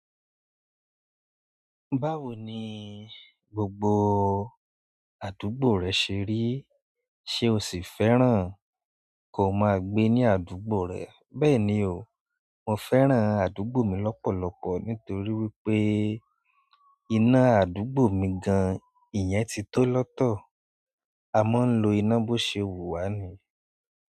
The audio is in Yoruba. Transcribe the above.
Báwo ni gbogbo àdúgbò rẹ ṣe rí? Ṣé o sì fẹ́ràn ko máa gbé ní àdúgbò rẹ? Bẹ́ẹ̀ni o, mo fẹ́ràn àdúgbò mi lọ́pọ̀lọpọ̀ nítorí wípé iná àdúgbò mi gan-an ìyẹn ti tó lọ́tọ̀. A máa ń lo iná bó ṣe wù wá ni.